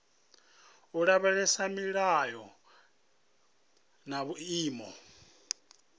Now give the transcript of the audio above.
u lavhelesa milayo na vhuimo